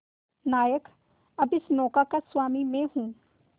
नायक अब इस नौका का स्वामी मैं हूं